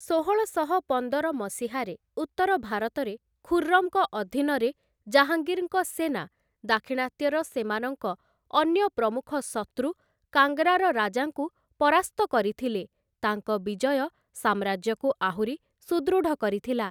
ଷୋହଳଶହ ପନ୍ଦର ମସିହାରେ ଉତ୍ତର ଭାରତରେ, ଖୁର୍ରମଙ୍କ ଅଧୀନରେ ଜାହାଙ୍ଗୀର୍‌ଙ୍କ ସେନା ଦାକ୍ଷିଣାତ୍ୟର ସେମାନଙ୍କ ଅନ୍ୟ ପ୍ରମୁଖ ଶତ୍ରୁ କାଙ୍ଗ୍‌ରାର ରାଜାଙ୍କୁ ପରାସ୍ତ କରିଥିଲେ ତାଙ୍କ ବିଜୟ ସାମ୍ରାଜ୍ୟକୁ ଆହୁରି ସୁଦୃଢ଼ କରିଥିଲା ।